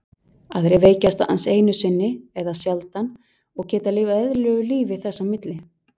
Aðrir veikjast aðeins einu sinni eða sjaldan og geta lifað eðlilegu lífi þess á milli.